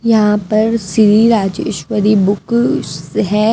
यहां पर श्री राजेश्वरी बुक है।